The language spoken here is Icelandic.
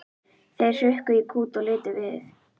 Þeir hrukku í kút og litu við.